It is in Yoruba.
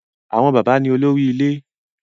Àwọn bàbá ni olórí ilé.